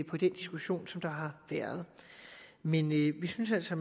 på den diskussion der har været men vi synes altså